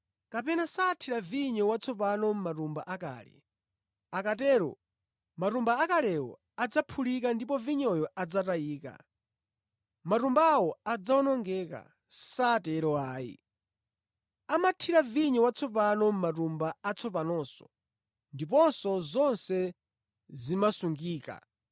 Kapena sathira vinyo watsopano mʼmatumba akale; akatero, matumba akalewo adzaphulika ndipo vinyoyo adzatayika, matumbawo adzawonongeka; satero ayi. Amathira vinyo watsopano mʼmatumba atsopanonso ndipo zonse zimasungika.